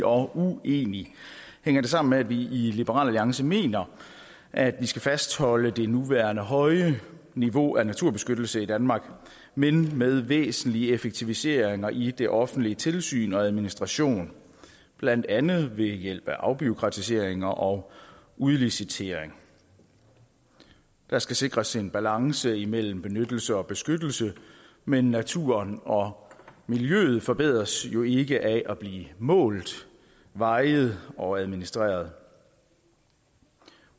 og uenig hænger det sammen med at vi i liberal alliance mener at vi skal fastholde det nuværende høje niveau af naturbeskyttelse i danmark men med væsentlige effektiviseringer i det offentlige tilsyn og administrationen blandt andet ved hjælp af afbureaukratisering og udlicitering der skal sikres en balance imellem benyttelse og beskyttelse men naturen og miljøet forbedres jo ikke af at blive målt vejet og administreret